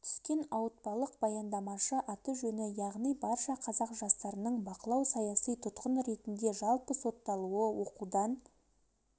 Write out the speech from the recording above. түскен ауытпалық баяндамашы аты-жөні яғни барша қазақ жастарының бақылау саяси тұтқын ретінде жалпы сотталуы оқудан